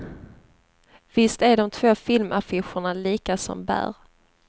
Visst är de två filmaffischerna lika som bär.